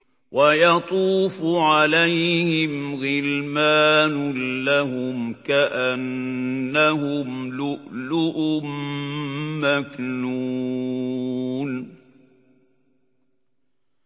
۞ وَيَطُوفُ عَلَيْهِمْ غِلْمَانٌ لَّهُمْ كَأَنَّهُمْ لُؤْلُؤٌ مَّكْنُونٌ